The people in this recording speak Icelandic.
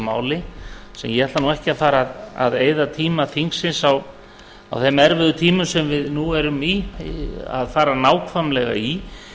máli sem ég ætla ekki að fara að eyða tíma þingsins á þeim erfiðu tímum sem við nú erum í að fara nákvæmlega í